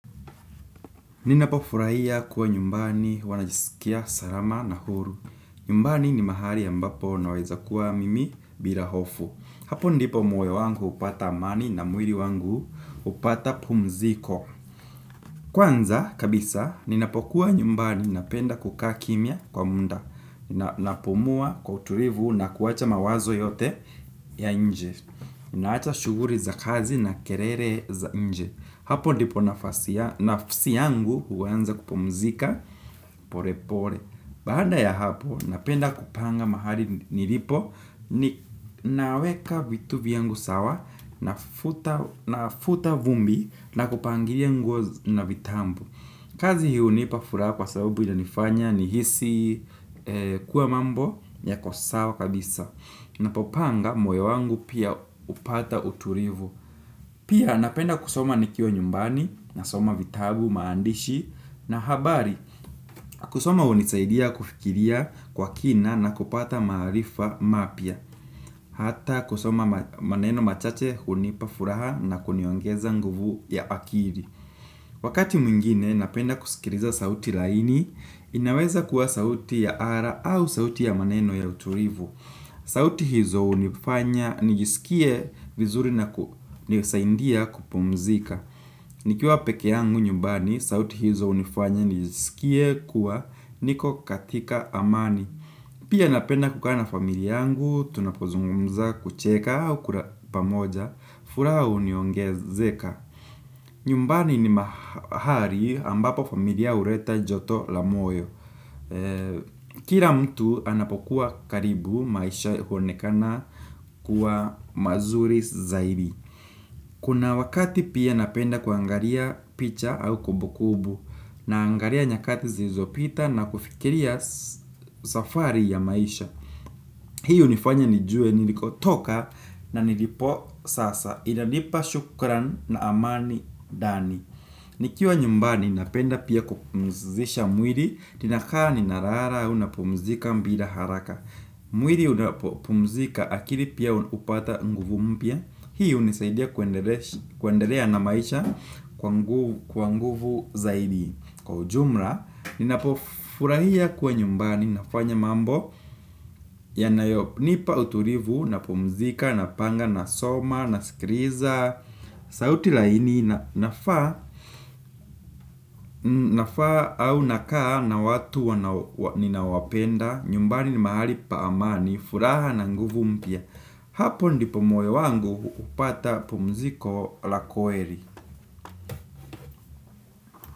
Ninapo furaia kuwa nyumbani wanajisikia sarama na huru. Nyumbani ni mahali ya mbapo naweza kuwa mimi birahofu. Hapo ndipo moyo wangu upata amani na mwiri wangu upata pumziko. Kwanza kabisa, ninapokuwa nyumbani napenda kukaa kimya kwa munda. Ninapumua kwauturivu na kuwacha mawazo yote ya nje. Ninacha shuguri za kazi na kerere za nje. Hapo ndipo nafasi ya nafasi yangu uwanza kupomzika pore pore. Baada ya hapo napenda kupanga mahali nilipo naweka vitu viyangu sawa nafuta vumbi na kupangiria nguo na vitambu. Kazi hii hunipa fura kwa sabubu ya nifanya ni hisi kuwa mambo ya kosawa kabisa. Napopanga moyo wangu pia upata uturivu. Pia napenda kusoma nikiwa nyumbani na soma vitabu maandishi na habari. Kusoma hunisaidia kufikiria kwa kina na kupata maharifa mapia. Hata kusoma maneno machache hunipa furaha na kuniwongeza nguvu ya akiri. Wakati mwingine napenda kusikiriza sauti laini. Inaweza kuwa sauti ya ara au sauti ya maneno ya uturivu. Sauti hizo unifanya nijisikie vizuri na nisaindia kupumzika. Nikiwa peke yangu nyumbani, sauti hizo unifanya nijisikie kuwa niko katika amani. Pia napenda kuka na familia yangu, tunapozungumza kucheka au kura pamoja, fura huniongezeka. Nyumbani ni mahari ambapo familia ureta joto la moyo. Kira mtu anapokuwa karibu maisha huonekana kuwa mazuri zaidi. Kuna wakati pia napenda kuangaria picha au kubukubu. Naangaria nyakati zizopita na kufikiria safari ya maisha. Hiyo hunifanya nijue niliko toka na nilipo sasa. Inanipa shukran na amani dani. Nikiwa nyumbani napenda pia kupunzisha mwiri. Ninakaa ni narara, unapumzika mbida haraka. Mwili unapumzika akiri pia upata nguvu mpia. Hiyo nisaidia kuendelea na maisha kwa nguvu zaidi. Kwa ujumra, ninapofurahia kuwa nyumbani nafanya mambo yanayonipa uturivu, napumzika, napanga, nasoma, nasikriza sauti laini nafaa au nakaa na watunina wana wapenda, nyumbani mahali paamani, furaha na nguvu mpia. Hapo ndi po moyo wangu upata pomziko la koeli.